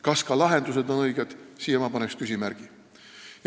Kas ka lahendused on õiged – siia ma paneks küsimärgi.